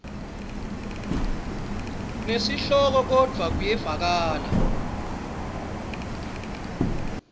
nesihloko kodvwa kuyevakala